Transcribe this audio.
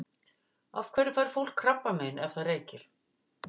Af hverju fær fólk krabbamein ef það reykir?